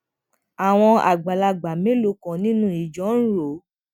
àwọn àgbàlagbà mélòó kan nínú ìjọ ń rò